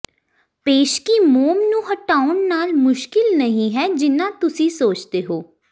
ਪੇਸਕੀ ਮੋਮ ਨੂੰ ਹਟਾਉਣ ਨਾਲ ਮੁਸ਼ਕਿਲ ਨਹੀਂ ਹੈ ਜਿੰਨਾ ਤੁਸੀਂ ਸੋਚਦੇ ਹੋ